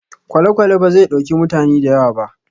Kwalekwale bazai ɗauki mutane da yawa ba